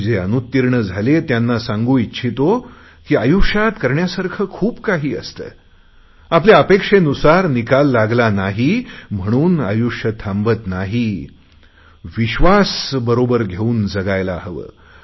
आणि जे अनुत्तीर्ण झाले त्यांना सांगू इच्छितो की आयुष्यात करण्यासारखे खूप काही असते आपल्या अपेक्षेनुसार निकाल लागला नाही म्हणून आयुष्य थांबत नाही विश्वासबरोबर घेऊन जगायला हवे